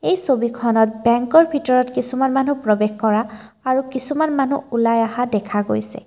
এই ছবিখনত বেঙ্কৰ ভিতৰত কিছুমান মানুহ প্ৰৱেশ কৰা আৰু কিছুমান মানুহ ওলাই অহা দেখা গৈছে।